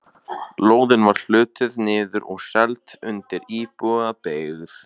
Lóðin var hlutuð niður og seld undir íbúðabyggð.